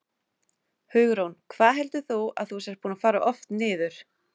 Hugrún: Hvað heldur þú að þú sért búinn að fara oft niður?